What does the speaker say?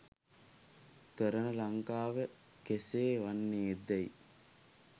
කරන ලංකාව කෙසේ වන්නේ දැයි